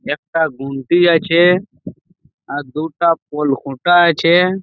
একটা গুলতি আছে আর দুটা পোল খুঁটা আছে।